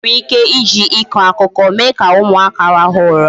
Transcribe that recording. E nwere ike iji ịkọ akụkọ mee ka ụmụaka rahụ ụra